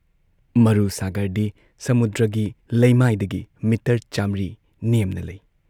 ꯃꯔꯨ ꯁꯥꯥꯒꯔꯗꯤ ꯁꯃꯨꯗ꯭ꯔꯒꯤ ꯂꯩꯃꯥꯏꯗꯒꯤ ꯃꯤꯇꯔ ꯆꯥꯃ꯭ꯔꯤ ꯅꯦꯝꯅ ꯂꯩ ꯫